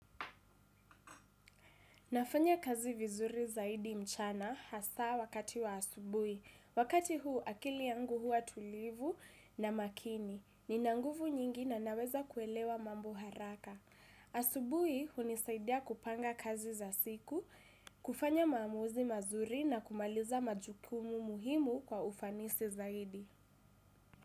Nafanya kazi vizuri zaidi mchana hasa wakati wa asubui. Wakati huu akili yangu hua tulivu na makini. Ninanguvu nyingi na naweza kuelewa mambo haraka. Asubui hunisaidia kupanga kazi za siku, kufanya maamuzi mazuri na kumaliza majukumu muhimu kwa ufanisi zaidi.